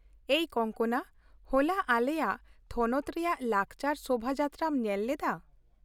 ᱮᱭ ᱠᱚᱝᱠᱚᱱᱟ ! ᱦᱚᱞᱟ ᱟᱞᱮᱭᱟᱜ ᱛᱷᱚᱱᱚᱛ ᱨᱮᱭᱟᱜ ᱞᱟᱠᱪᱟᱨ ᱥᱳᱵᱷᱟ ᱡᱟᱛᱨᱟᱢ ᱧᱮᱞ ᱞᱮᱫᱟ ?